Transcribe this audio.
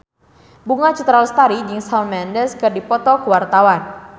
Bunga Citra Lestari jeung Shawn Mendes keur dipoto ku wartawan